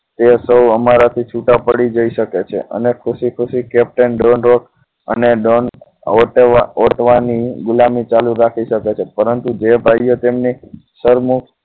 તે સૌ અમારાથી છૂટા પડી જઈ શકે છે તેમને ખુશી ખુશી captain ડ્રોન અને ડોન ઓરતવાની ગુલામી ચાલુ રાખી શકો છો પરંતુ જે ભાઈઓ તેમની સરમુખ